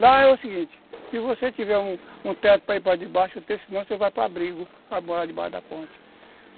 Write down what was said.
Lá é o seguinte, se você tiver um teto para ir para debaixo, se não, você vai para abrigo, vai morar debaixo da ponte.